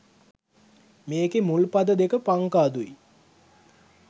මේකෙ මුල් පද දෙක පංකාදු යි